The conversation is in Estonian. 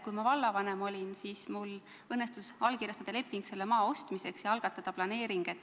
Kui ma vallavanem olin, siis mul õnnestus allkirjastada leping selle maa ostmiseks ja algatada planeering.